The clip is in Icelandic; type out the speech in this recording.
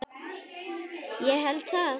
Ég held það.